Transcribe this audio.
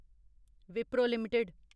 Wipro limited